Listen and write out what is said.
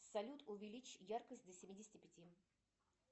салют увеличь яркость до семидесяти пяти